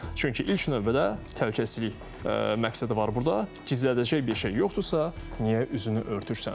Çünki ilk növbədə təhlükəsizlik məqsədi var burda, gizlədəcək bir şey yoxdursa, niyə üzünü örtürsən?